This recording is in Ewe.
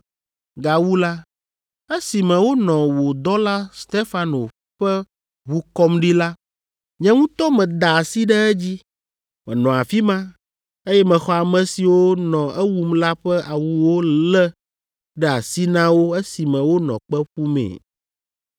Gawu la, esime wonɔ wò dɔla Stefano ƒe ʋu kɔm ɖi la, nye ŋutɔ meda asi ɖe edzi. Menɔ afi ma, eye mexɔ ame siwo nɔ ewum la ƒe awuwo lé ɖe asi na wo esime wonɔ kpe ƒumee.’